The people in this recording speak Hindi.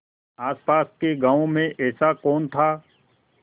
आसपास के गाँवों में ऐसा कौन था